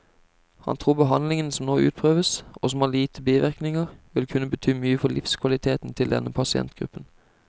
Han tror behandlingen som nå utprøves, og som har lite bivirkninger, vil kunne bety mye for livskvaliteten til denne pasientgruppen.